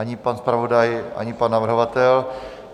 Ani pan zpravodaj, ani pan navrhovatel.